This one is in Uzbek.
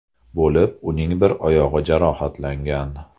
bo‘lib, uning bir oyog‘i jarohatlangan.